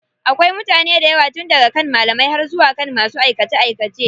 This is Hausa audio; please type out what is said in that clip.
Akwai mutane daywa tun daga kan malamai har zuwa kan masu aikace aikace.